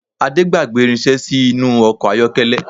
Ade gbágbè irinsé sí inú ọkọ̀ ayọ́kẹ́lẹ́